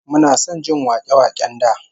Muna son jin wake-waken da